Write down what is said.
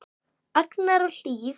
Agnar og Hlíf.